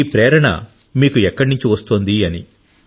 ఈ ప్రేరణ మీకు ఎక్కడ నుండి వస్తుంది అని